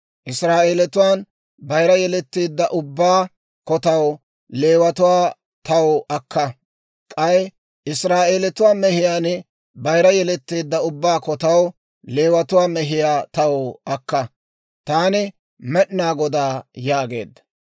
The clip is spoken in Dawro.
Israa'eelatuwaan bayira yeletteedda ubbaa kotaw Leewatuwaa taw akka; k'ay Israa'eelatuwaa mehiyaan bayira yeletteedda ubbaa kotaw Leewatuwaa mehiyaa taw akka. Taani Med'inaa Godaa» yaageedda.